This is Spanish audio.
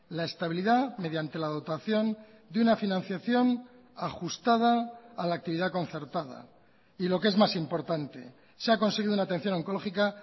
la estabilidad mediante la dotación de una financiación ajustada a la actividad concertada y lo que es más importante se ha conseguido una atención oncológica